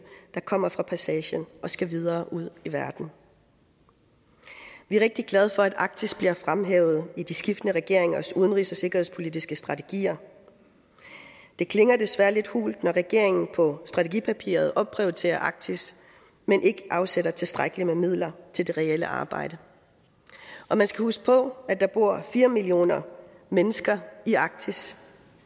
der kommer fra passagen og skal videre ud i verden vi er rigtig glade for at arktis bliver fremhævet i de skiftende regeringers udenrigs og sikkerhedspolitiske strategier det klinger desværre lidt hult når regeringen på strategipapiret opprioriterer arktis men ikke afsætter tilstrækkelig med midler til det reelle arbejde og man skal huske på at der bor fire millioner mennesker i arktis